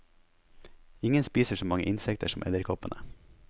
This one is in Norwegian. Ingen spiser så mange insekter som edderkoppene.